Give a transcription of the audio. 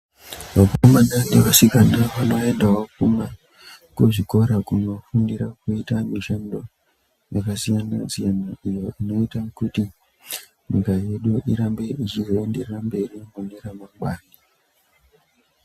Vakomana nevasikana vanoendawo kuzvikora kunofundira kuita mishando yakasiyana siyana iyo inoita kuti nyika yedu irambe ichozoenderera mberi mune ramangwani .